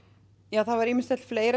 það hefur ýmislegt fleira